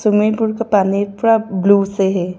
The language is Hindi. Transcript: स्विमिंग पूल का पानी पूरा ब्लू से है।